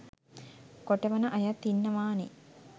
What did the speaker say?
කොටවන අයත් ඉන්නවානේ.